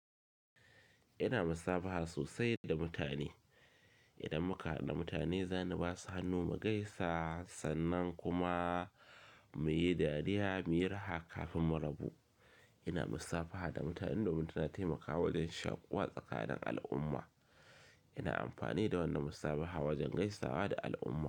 Ina musafaha sosai da mutane. Ina makara da mutane, zana basu hannu mu gaisa sannan kuma muyi dariya muyi raha kafin mu rabu. Ina musafaha da mutane domin tana taimakawa wajen shaƙuwa tsakanin al'umma. Ina amfani da wannan musafaha wajen gaisawa da al'umma.